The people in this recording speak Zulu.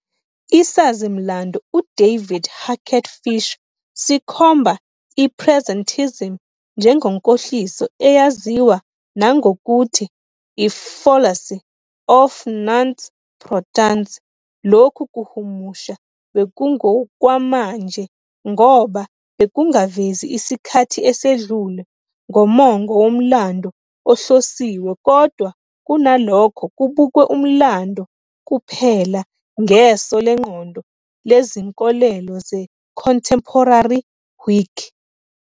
Isazi-mlando uDavid Hackett Fischer sikhomba i-presentism njengenkohliso eyaziwa nangokuthi "i-fallacy of "nunc pro tunc" ". Lokhu kuhumusha bekungokwamanje ngoba bekungavezi isikhathi esedlule ngomongo womlando ohlosiwe kodwa kunalokho kubukwe umlando kuphela ngeso lengqondo lezinkolelo ze-Contemporary Whig.